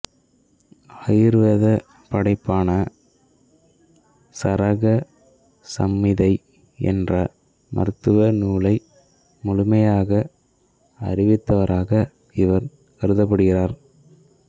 ஆயுர்வேதப் படைப்பான சரக சம்மிதை என்ற மருத்துவ நூலை முழுமையாக அறிந்தவராகக் இவர் கருதப்படுகிறார்